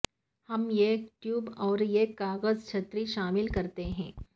ہم ایک ٹیوب اور ایک کاغذ چھتری شامل کرتے ہیں